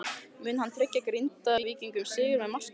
Mun hann tryggja Grindvíkingum sigurinn með marki?